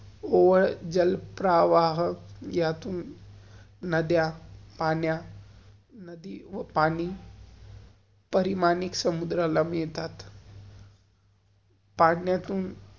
जल प्रवाह यातून नद्या, पाण्या, नदी~पाणी परिमानिक समुद्राला मिळतात.